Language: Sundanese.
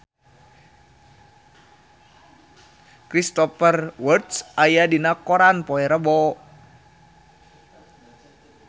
Cristhoper Waltz aya dina koran poe Rebo